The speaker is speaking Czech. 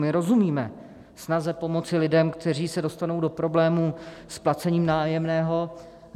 My rozumíme snaze pomoci lidem, kteří se dostanou do problémů s placením nájemného.